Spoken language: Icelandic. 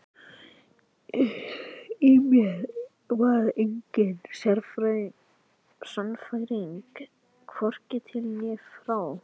Í mér var engin sannfæring, hvorki til né frá.